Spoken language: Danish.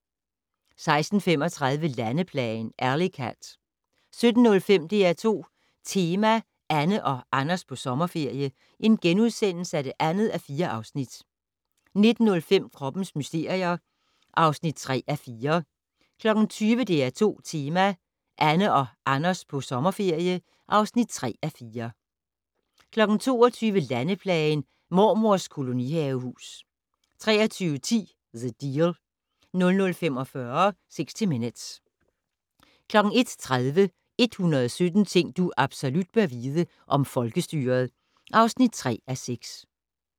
16:35: Landeplagen - Alley Cat 17:05: DR2 Tema: Anne og Anders på sommerferie (2:4)* 19:05: Kroppens mysterier (3:4) 20:00: DR2 Tema: Anne og Anders på sommerferie (3:4) 22:00: Landeplagen - Mormors kolonihavehus 23:10: The Deal 00:45: 60 Minutes 01:30: 117 ting du absolut bør vide - om folkestyret (3:6)